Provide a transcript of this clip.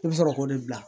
I bɛ sɔrɔ k'o de bila